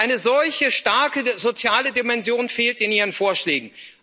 Und eine solche starke soziale Dimension fehlt in Ihren Vorschlägen.